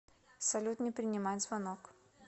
салют не принимать звонок